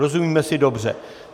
Rozumíme si dobře.